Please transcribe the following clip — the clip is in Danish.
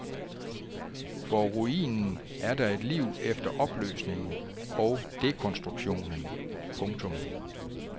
For ruinen er der et liv efter opløsningen og dekonstruktionen. punktum